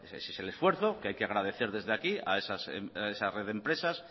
ese es el esfuerzo que hay que agradecer desde aquí a esa red de empresas